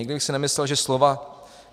Nikdy bych si nemyslel, že slova